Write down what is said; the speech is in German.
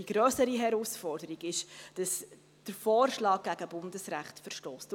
Die grössere Herausforderung ist, dass der Vorschlag gegen Bundesrecht verstösst.